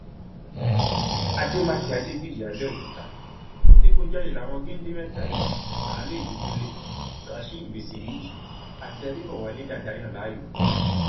àdèmàkè adébíyì àbẹòkúta ìdígunjalè làwọn géńdé mẹta yìí àánú ìbíkúnlẹ rasheed bisiriyi àti adébọwálé dàda yàn láàyò